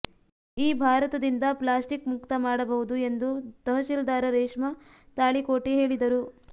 ಈ ಭಾರತದಿಂದ ಪ್ಲಾಸ್ಟಿಕ್ ಮುಕ್ತ ಮಾಡಬಹುದು ಎಂದು ತಹಶೀಲ್ದಾರ ರೇಷ್ಮಾ ತಾಳಿಕೋಟಿ ಹೇಳಿದರು